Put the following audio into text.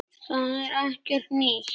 Það er ekkert nýtt.